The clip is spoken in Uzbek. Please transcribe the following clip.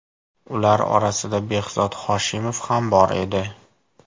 Ular orasida Behzod Hoshimov ham bor edi.